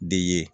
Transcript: De ye